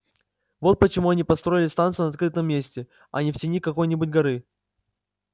вот почему они и построили станцию на открытом месте а не в тени какой-нибудь горы